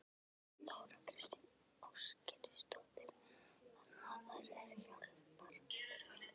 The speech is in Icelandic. Þóra Kristín Ásgeirsdóttir: Þannig að þær eru hjálpar þurfi?